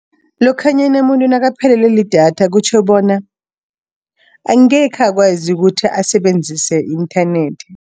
Lokhanyana umuntu nakaphelelwe lidatha kutjho bona, angekhe akwazi ukuthi asebenzise inthanethi.